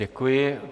Děkuji.